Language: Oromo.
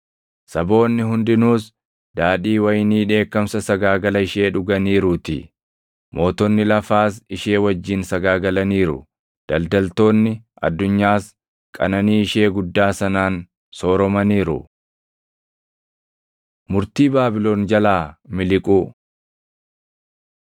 Saboonni hundinuus, daadhii wayinii dheekkamsa sagaagala ishee dhuganiiruutii. Mootonni lafaas ishee wajjin sagaagalaniiru; daldaltoonni addunyaas qananii ishee // guddaa sanaan sooromaniiru.” Murtii Baabilon Jalaa Miliquu